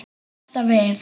Og hef alltaf verið það.